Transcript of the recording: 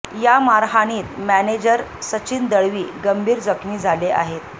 या मारहाणीत मॅनेजर सचिन दळवी गंभीर जखमी झाले आहेत